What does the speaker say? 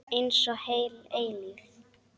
Einsog heil eilífð.